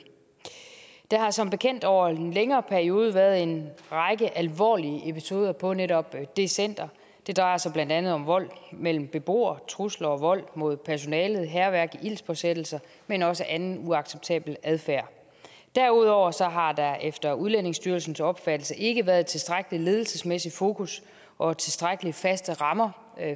der har som bekendt over en længere periode været en række alvorlige episoder på netop det center det drejer sig blandt andet om vold mellem beboere trusler og vold mod personalet hærværk og ildspåsættelser men også anden uacceptabel adfærd derudover har der efter udlændingestyrelsens opfattelse ikke været tilstrækkelig ledelsesmæssigt fokus og tilstrækkelig faste rammer